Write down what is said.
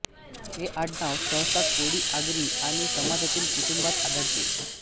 हे आडनाव सहसा कोळी आगरी आणि समाजातील कुटुंबांत आढळते